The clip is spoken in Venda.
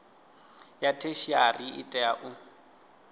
ya theshiari ḽi tea u